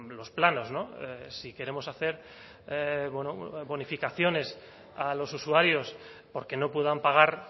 los planos no si queremos hacer bueno bonificaciones a los usuarios porque no puedan pagar